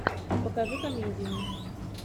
покажи комедию